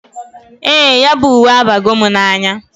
Ee, ya bu uwe abago m n"anya.